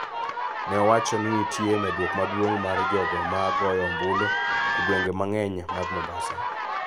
ne owacho ni nitie medruok maduong� mar jogo ma goyo ombulu e gwenge mang�eny mag Mombasa,